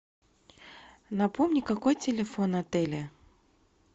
напомни какой телефон отеля